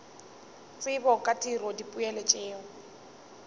tsebo ka tiro dipoelo tšeo